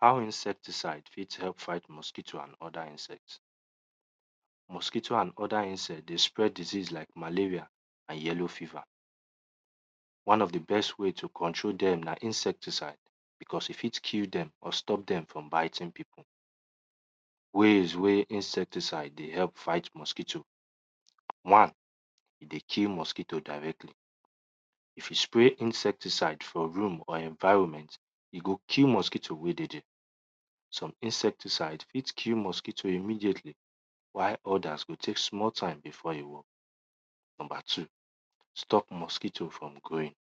How insecticide fit help fight mosquito and other insect. Mosquito and other insect dey spread diseas lke malaria and yellow fever. One of di best way to control dem na insecticide because e fit kill dem or stop dem from biting pipu. Ways wey insecticide dey help fight mosquito, one e dey kill mosquito directly, if you spray insecticide for room or environment, e go kill mosquito wey dey there. Some insecticide fit kll mosquito immediately whiel others go teey small befoe e grow. Stop mosquito from growing.,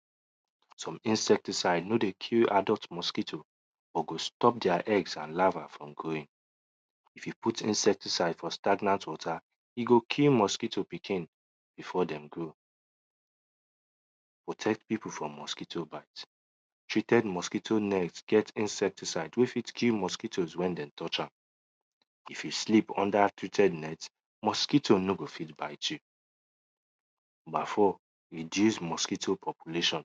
some insecticide no dey kill adult mosquito, but go stop their eggs and larva from growng. If you put insecticide for stagnant water, e go kill mosquito pikin before dem grow. Protect pipu from mosquito bite. Treated mosquito net get insecticide wey fit kill mosquito wen dem touch am. If you sleep under treated net, mosquito nor go fit ite you. Reduce mosquito population.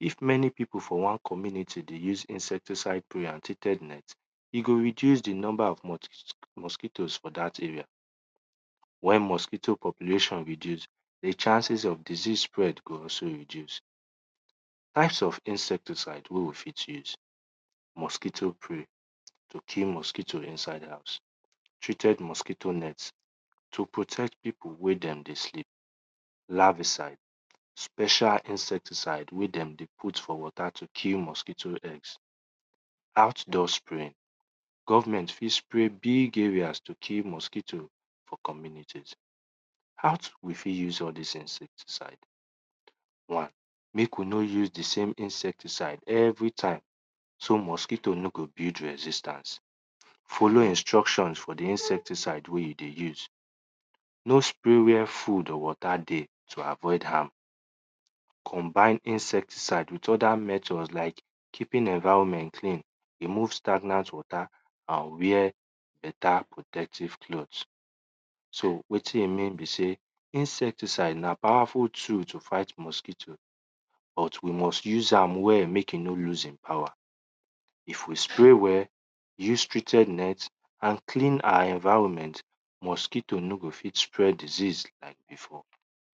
If many pipu for wan community dey use insecticide and treated net, e go reduce di number of mosquitoes for dat rea while mosquito populationreduce, di chances of disease spread go reduce. Types of insecticide wey we fit use, mosquito spray to kill mosquito inside house, treaded mosquito net to protect pipu wen dem dey kill. Larvaside special insecticvide wey dem dey put for water to kill mosquito eggs. Outdoor spray, government fit spray big areas to kill mosquito for communities. How we fit use all dis things, one biko no us di sme insecticide everytime so mosquito no go build resistance, follow instructions for di insecticide wey you dey use. No spray where food or water dey to avoid harm, combine insecticide with other methods like keeping environment clean, remove stagant water and wear better protective clkoth. So wetin e mean be sey insecticide na powerful tool to fight mosquito but we miust use am wekll mek e no loose e power, if we spray well, use treated net and clean our environment, mosquito no go fit spread disease like before.